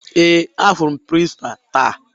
Ee, ahụrụ m prịnsịpaa taa